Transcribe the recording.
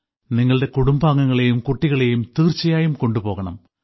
നിങ്ങളുടെ കുടുംബാംഗങ്ങളെയും കുട്ടികളെയും തീർച്ചയായും കൊണ്ടു പോകണം